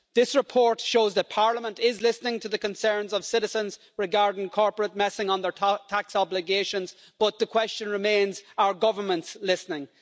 This report shows that Parliament is listening to the concerns of citizens regarding corporate messing on their tax obligations, but the question remains as to whether governments are listening?